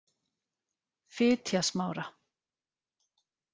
Fitjasmára